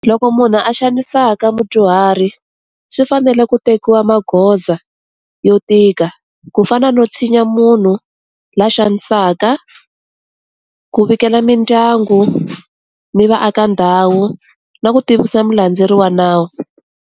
Loko munhu a xanisaka mudyuhari swi fanele ku tekiwa magoza yo tika ku fana no tshinya munhu la xanisaka, ku vikela mindyangu ni vaaka ndhawu na ku tivisa mu landzeri wa nawu.